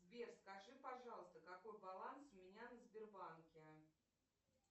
сбер скажи пожалуйста какой баланс у меня на сбербанке